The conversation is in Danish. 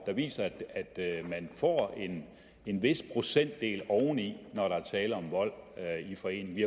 der viser at man får en vis procentdel oveni når der er tale om vold i forening vi